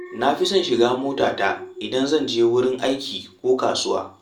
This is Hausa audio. Na fi son shiga motata idan zan je wurin aiki ko kasuwa